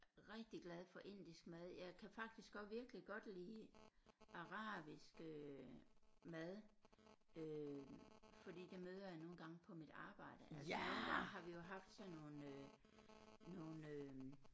Rigtig glad for indisk mad jeg kan faktisk også virkelig godt lide arabiske mad øh fordi det møder jeg nogle gange på mit arbejde altså nogle gange har vi jo haft sådan nogle øh nogle øh